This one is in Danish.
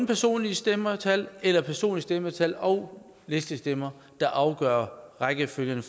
personlige stemmetal eller personlige stemmetal og listestemmer der afgør rækkefølgen